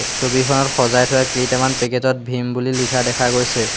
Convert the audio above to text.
ছবিখনত সজাই থোৱা কেইটামান পেকেট ত ভীম বুলি লিখা দেখা গৈছে।